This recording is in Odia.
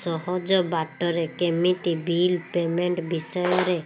ସହଜ ବାଟ ରେ କେମିତି ବିଲ୍ ପେମେଣ୍ଟ ବିଷୟ ରେ